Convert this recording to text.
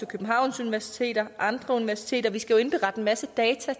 københavns universitet og andre universiteter vi skal jo indberette en masse data